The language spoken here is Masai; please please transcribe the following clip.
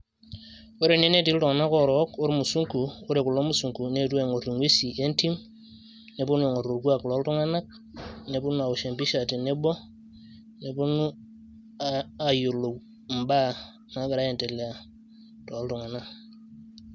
Ore ene netii iltung'anak orook ormusunku, ore kulo musunku neetuo aing'or ing'uesin entim, neponu aing'or orkuak loltung'anak, neponu awosh empisha tenebo, neponu ayiolou imbaa nagira aiendelea toltung'anak.